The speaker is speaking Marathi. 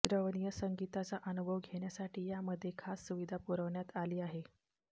श्रवणीय संगीताचा अनुभव घेण्यासाठी यामध्ये खास सुविधा पुरवण्यात आली आहे